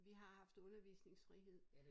Vi har haft undervisningsfrihed